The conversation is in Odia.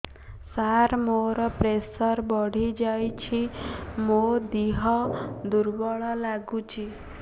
ସାର ମୋର ପ୍ରେସର ବଢ଼ିଯାଇଛି ମୋ ଦିହ ଦୁର୍ବଳ ଲାଗୁଚି